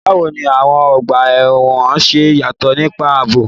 Báwo ni àwọn ọgbà ẹ̀wọ̀n ṣe yàtọ̀ nípa ààbò?